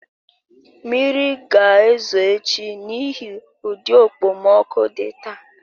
Mmiri ga-ezo echi n'ihi ụdị okpomọkụ dị taa